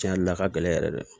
Cɛn yɛrɛ la a ka gɛlɛn yɛrɛ de